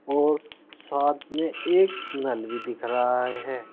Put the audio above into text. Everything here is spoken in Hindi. और साथ में एक नल भी दिख रहा है।